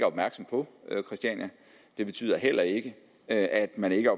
opmærksom på christiania det betyder heller ikke at man ikke